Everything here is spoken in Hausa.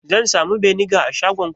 Zan samu beniga a shagonku?